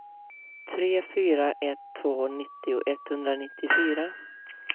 tre fyra ett två nittio etthundranittiofyra